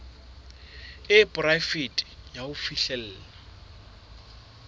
e poraefete ya ho fihlella